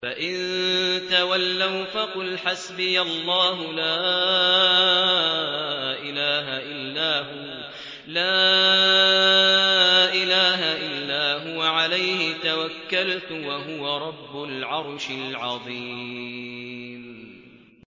فَإِن تَوَلَّوْا فَقُلْ حَسْبِيَ اللَّهُ لَا إِلَٰهَ إِلَّا هُوَ ۖ عَلَيْهِ تَوَكَّلْتُ ۖ وَهُوَ رَبُّ الْعَرْشِ الْعَظِيمِ